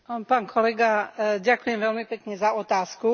Pán kolega, ďakujem veľmi pekne za otázku.